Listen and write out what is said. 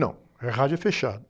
Não, é rádio é fechado.